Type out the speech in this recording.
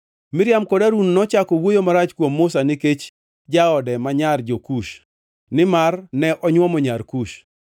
Miriam kod Harun nochako wuoyo marach kuom Musa nikech jaode ma nyar jo-Kush, nimar ne onywomo nyar Kush.